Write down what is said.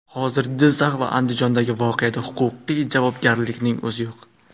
Hozir Jizzax va Andijondagi voqeada huquqiy javobgarlikning o‘zi yo‘q.